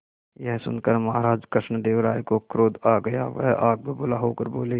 यह सुनकर महाराज कृष्णदेव राय को क्रोध आ गया वह आग बबूला होकर बोले